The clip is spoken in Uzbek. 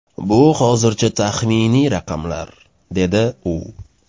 Bu hozircha taxminiy raqamlar”, - dedi u.